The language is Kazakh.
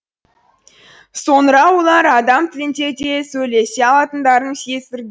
соңыра олар адам тілінде де сөйлесе алатындарын сездірді